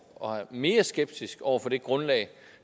og er mere skeptisk over for det grundlag